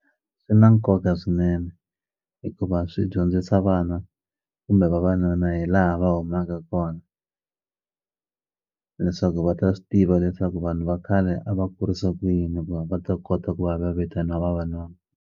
Swi na nkoka swinene hikuva swi dyondzisa vana kumbe vavanuna hi laha va humaka kona leswaku va ta swi tiva leswaku vanhu va khale a va kurisa ku yini ku va va ta kota ku va va vitana vavanuna.